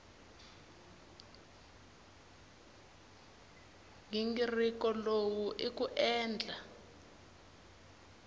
nghingiriko lowu i ku endla